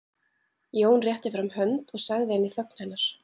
Jón rétti fram hönd og sagði inn í þögn hennar